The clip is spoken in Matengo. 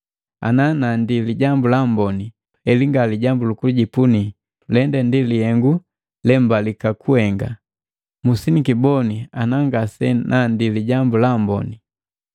Ana nandi Lijambu la Amboni, heli nga lijambu likijipuni, lende ndi lihengu lembalika kuhenga. Musinikiboni ana ngasi nandi Lijambu la Amboni!